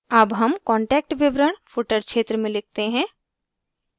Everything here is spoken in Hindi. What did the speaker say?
अब हम कांटेक्ट विवरण footer क्षेत्र में लिखते हैं